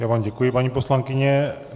Já vám děkuji, paní poslankyně.